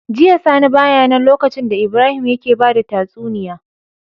Jiya sani baya nan lokacin da Ibrahim yake bada tatsuniya